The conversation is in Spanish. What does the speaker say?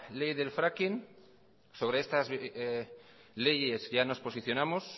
ley del fracking sobre estas leyes ya nos posicionamos